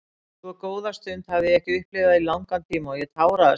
Svo góða stund hafði ég ekki upplifað í langan tíma og ég táraðist af hamingju.